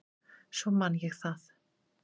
Svo man ég það.